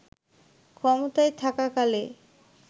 ক্ষমতায় থাকাকালে